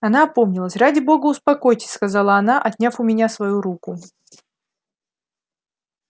она опомнилась ради бога успокойтесь сказала она отняв у меня свою руку